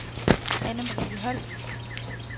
Anne-Marie Holst